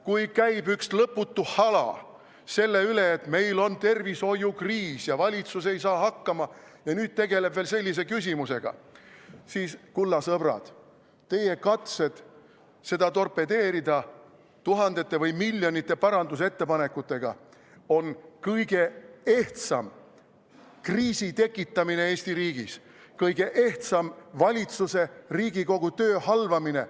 Kui käib üks lõputu hala selle üle, et meil on tervishoiukriis ja valitsus ei saa hakkama ja nüüd tegeleb veel sellise küsimusega, siis, kulla sõbrad, teie katsed seda eelnõu torpedeerida tuhandete või miljonite parandusettepanekutega on kõige ehtsam kriisi tekitamine Eesti riigis, kõige ehtsam valitsuse ja Riigikogu töö halvamine.